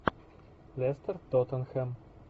лестер тоттенхэм